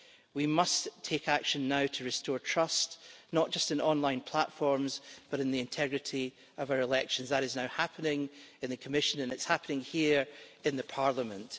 We must take action now to restore trust, not just in online platforms, but in the integrity of our elections. That is now happening in the Commission and it is happening here in Parliament.